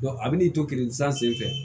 a bɛ n'i to keresan senfɛ